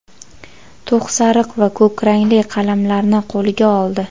to‘q sariq va ko‘k rangli qalamlarni qo‘liga oldi.